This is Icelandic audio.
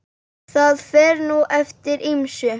Það fer nú eftir ýmsu.